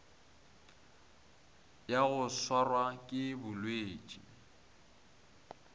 ya go swarwa ke bolwetši